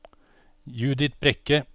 Judith Brekke